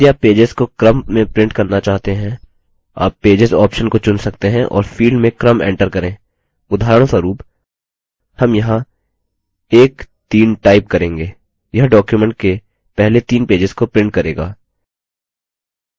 यदि आप पेजेस को क्रम में print करना चाहते हैं आप pages option को चुन सकते हैं और field में क्रम enter करें उदाहरणस्वरूप हम यहाँ 13 type range यह document के पहले तीन पेजेस को print करेगा